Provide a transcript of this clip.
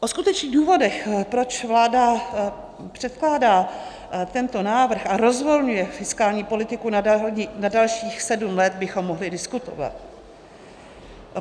O skutečných důvodech, proč vláda předkládá tento návrh a rozvolňuje fiskální politiku na dalších sedm let, bychom mohli diskutovat.